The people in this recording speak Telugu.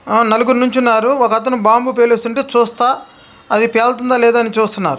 ఆ నలుగురు నిల్చున్నారు. ఒకతను బాంబు పేల్చుతుంటే చూస్తా అది పేలుతుందో లేదో అని చూస్తున్నారు.